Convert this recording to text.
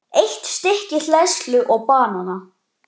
Eitt stykki hleðslu og banana.